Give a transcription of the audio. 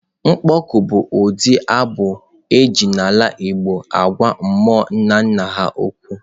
Mkpọ oku bụ ụdị abụ e ji n'ala igbo agwa mmụọ nna nna ha okwu.